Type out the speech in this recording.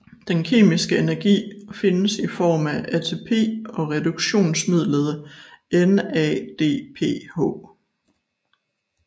Den kemiske energi findes i form af ATP og reduktionsmidlet NADPH